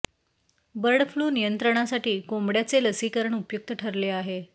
bird flu नियंत्रणासाठी कोंबड्यांचे लसीकरण उपयुक्त ठरले आहे